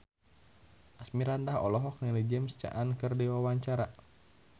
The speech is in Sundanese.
Asmirandah olohok ningali James Caan keur diwawancara